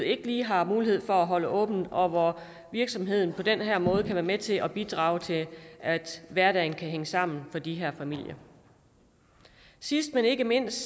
ikke lige har mulighed for at holde åbent og hvor virksomheden på den her måde kan være med til at bidrage til at hverdagen kan hænge sammen for de her familier sidst men ikke mindst